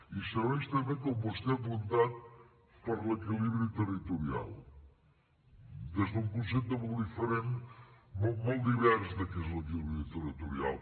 i serveix també com vostè ha apuntat per l’equilibri territorial des d’un concepte molt divers de què és l’equilibri territorial